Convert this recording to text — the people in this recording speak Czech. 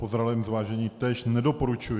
Po zralém zvážení též nedoporučuji.